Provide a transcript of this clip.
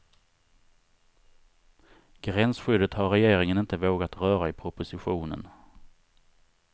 Gränsskyddet har regeringen inte vågat röra i propositionen.